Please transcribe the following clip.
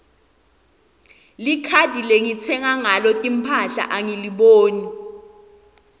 likhadi lengitsenga ngalo timphahla angiliboni